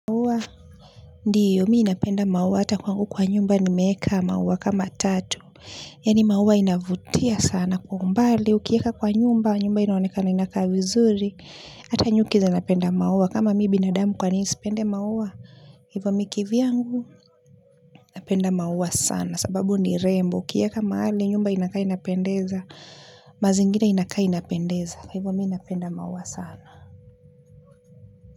Ndiyo mimi napenda maua ata kwangu kwa nyumba nimeweka maua kama tatu. Yaani maua inavutia sana kwa umbali. Ukiweka kwa nyumba, nyumba inaonekana inakaa vizuri. Ata nyuki zinapenda maua. Kama mimi binadamu kwa nini nisipende maua. Hivo mimi kivyangu, napenda maua sana. Sababu ni rembo. Ukiweka mahali, nyumba inakaa inapendeza. Mazingira inakaa inapendeza. Kwa hivo mimi napenda maua sana.